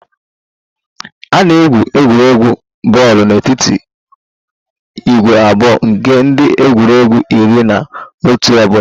A na-egwu egwuregwu bọọlụ n'etiti ìgwè abụọ nke ndị egwuregwu iri na otu ọ bụla